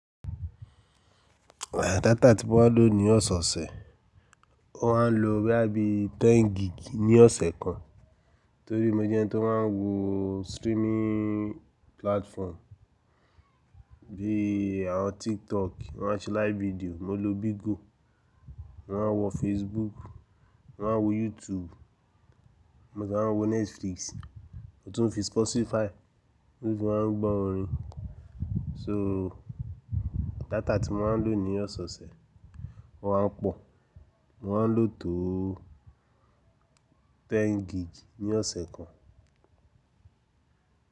À dátà tí mo máa ń lò ní ọ̀sọ̀ọ̀sẹ̀ mo máa ń lo bóyá bí i mẹ́wàá gig ní ọ̀sẹ̀ kan torí mo jẹ́ ẹni tó máa ń wo streaming platform bíi àwon TikTok wọ́n máa ń ṣe live video, mo lo Bigo, mo máa ń wọ Facebook, mo máa ń wo YouTube, mo sì máa ń wo Netflix, mo tún fi Spotify mo sì máa ń gbọ́ orin. So dátà tí mo máa ń lò ní ọ̀sọ̀ọ̀sẹ̀, ó máa ń pọ̀, mo máa ń lò tó mẹ́wàá gig ní ọ̀sẹ̀ kan.